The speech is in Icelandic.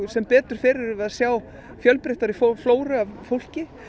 sem betur fer erum við að sjá fjölbreyttari flóru af fólki